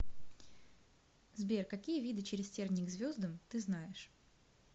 сбер какие виды через тернии к звездам ты знаешь